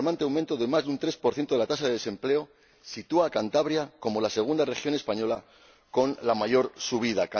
El alarmante aumento de más de un 3 de la tasa de desempleo sitúa a Cantabria como la segunda región española con la mayor subida.